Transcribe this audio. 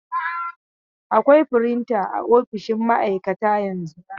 Akwai firinta a ofisoshin maaikata yanzu.